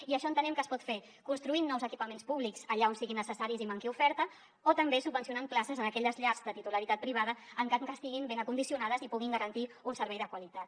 i això entenem que es pot fer construint nous equipaments públics allà on siguin necessaris i manqui oferta o també subvencionant places en aquelles llars de titularitat privada en cas que estiguin ben condicionades i puguin garantir un servei de qualitat